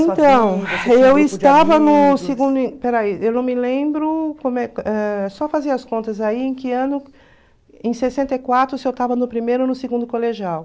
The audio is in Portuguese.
Espera aí, eu não me lembro como é... Só fazer as contas aí, em que ano... Em sessenta e quatro, se eu estava no primeiro ou no segundo colegial.